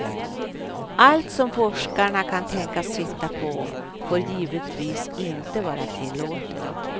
Allt som forskarna kan tänkas hitta på får givetvis inte vara tillåtet.